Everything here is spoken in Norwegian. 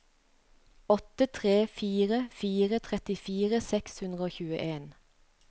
åtte tre fire fire trettifire seks hundre og tjueen